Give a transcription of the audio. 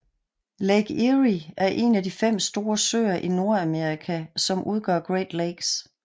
Lake Erie er en af de fem store søer i Nordamerika som udgør Great Lakes